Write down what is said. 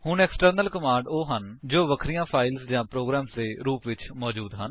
ਹੁਣ external commands ਉਹ ਹਨ ਜੋ ਵਖਰੀਆਂ ਫਾਇਲਸ ਜਾਂ ਪ੍ਰੋਗਰਾਮਸ ਦੇ ਰੂਪ ਵਿੱਚ ਮੌਜੂਦ ਹਨ